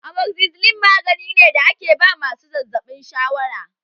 Amoxicilin magani ne da ake ba masu zazzaɓin shawara